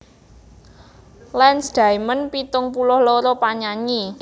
Lance Diamond pitung puluh loro panyanyi